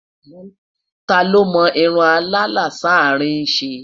tá ló mò irún àlà s'arin ṣé?